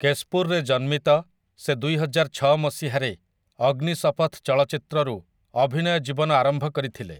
କେଶପୁରରେ ଜନ୍ମିତ, ସେ ଦୁଇହଜାରଛଅ ମସିହାରେ 'ଅଗ୍ନିଶପଥ୍' ଚଳଚ୍ଚିତ୍ରରୁ ଅଭିନୟ ଜୀବନ ଆରମ୍ଭ କରିଥିଲେ ।